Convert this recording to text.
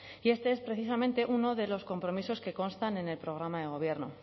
y este es precisamente uno de los compromisos que constan en el programa de gobierno